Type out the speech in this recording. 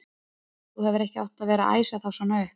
Þú hefðir ekki átt að vera að æsa þá svona upp!